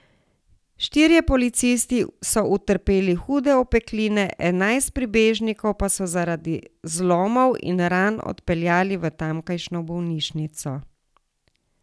Štirje policisti so utrpeli hude opekline, enajst prebežnikov pa so zaradi zlomov in ran odpeljali v tamkajšnjo bolnišnico.